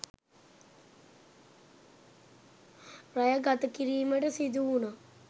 රැය ගතකිරීමට සිදුවුනා